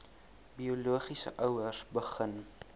biologiese ouers begin